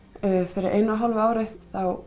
fyrir einu og hálfu ári þá